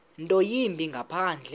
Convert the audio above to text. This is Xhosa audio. nto yimbi ngaphandle